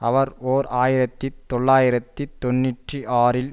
அவர் ஓர் ஆயிரத்தி தொள்ளாயிரத்தி தொன்னூற்றி ஆறில்